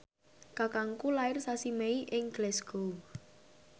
kakangku lair sasi Mei ing Glasgow